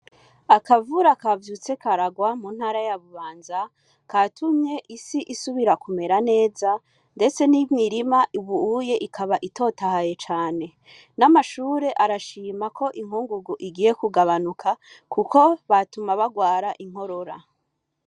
Akavura kavyutse karagwa mu ntara ya Bubanza, katumye isi isubira kumera neza, ndetse n'imirima ubu ikaba itotahaye cane. N'amashure arashima ko inkungugu igiye kugabanuka, kuko ibatuma bagwara inkorora.